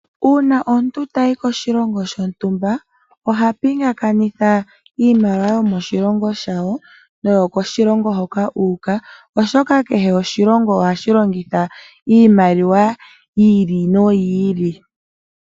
Uuna omuntu shampa tayi koshilongo shontumba, oha pingakanitha iimaliwa yomoshilongo shawo, noyokoshilongo hoka u uka, oshoka kehe oshilongo ohashi longitha iimaliwa yi ili noyi ili.